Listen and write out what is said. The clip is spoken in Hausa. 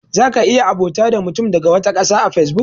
Za ka iya abota da mutum daga wata ƙasa a fesbuk.